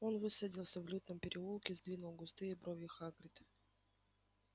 он высадился в лютном переулке сдвинул густые брови хагрид